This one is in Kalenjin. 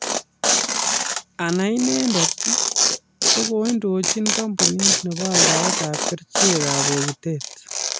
Anao inendet kokiindochin kampunit nebo aldaetab kerichekab bogitet